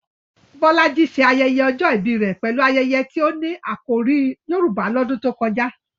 Bolaji ṣe ayẹyẹ ọjọ́ ìbí rẹ̀ pẹ̀lú ayẹyẹ tí ó ní àkòrí Yorùbá lọ́dún tó kọjá.